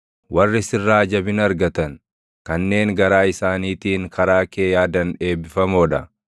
Warri sirraa jabina argatan, kanneen garaa isaaniitiin karaa kee yaadan eebbifamoo dha.